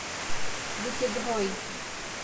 вытегрой